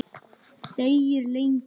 Þegir lengi.